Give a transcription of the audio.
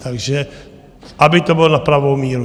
Takže aby to bylo na pravou míru.